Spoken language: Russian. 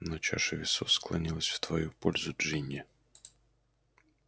но чаша весов склонилась в твою пользу джинни